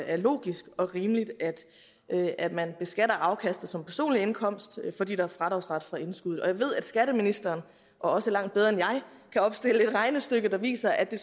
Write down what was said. er logisk og rimeligt at man beskatter afkastet som personlig indkomst fordi der er fradragsret for indskuddet jeg ved at skatteministeren også langt bedre end jeg kan opstille et regnestykke der viser at det